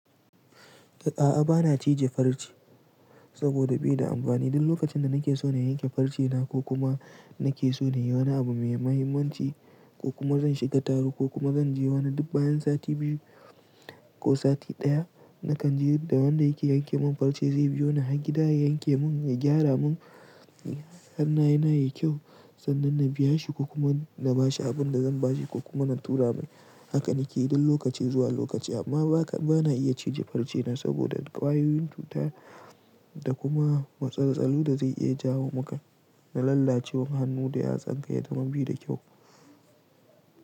A'a bana cije farce saboda bi da amfani. Duk lokacin da nake so na yanke farce na ko kuma nake so na yi wani abu mai mahimmanci ko kuma zan shiga taro ko kuma zan je wani dub bayan sati biyu ko sati ɗaya, na kan ji da wanda yake yanke min farce zai biyo ni har gida ya yanke mun ya gyara mun hannaye na yayi kyau sannan na biya shi ko kuma na ba shi abin da zan ba shi ko kuma na tura mai. Haka nake yin duk lokaci zuwa lokaci amma ba na iya cije farce na saboda ƙwayoyin cuta da kuma matsaltsalu da zai iya jawo maka na lallacewar hannu da yatsanka yayi kamar baida kyau.